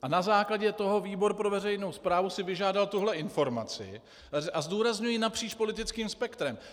A na základě toho výbor pro veřejnou správu si vyžádal tuhle informaci, a zdůrazňuji, napříč politickým spektrem.